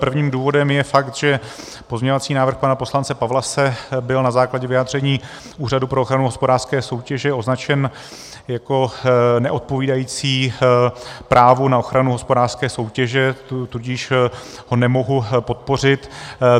Prvním důvodem je fakt, že pozměňovací návrh pana poslance Pawlase byl na základě vyjádření Úřadu pro ochranu hospodářské soutěže označen jako neodpovídající právu na ochranu hospodářské soutěže, tudíž ho nemohu podpořit.